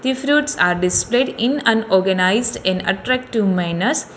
The fruits are displayed in on organised in attractive manners.